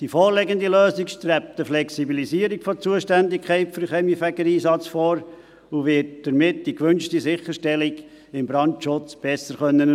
Die vorliegende Lösung strebt eine Flexibilisierung der Zuständigkeit für den Kaminfegereinsatz an und wird damit die gewünschte Sicherstellung des Brandschutzes besser erfüllen können.